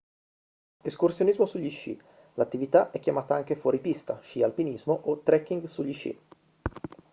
escursionismo sugli sci l'attività è chiamata anche fuoripista sci alpinismo o trekking sugli sci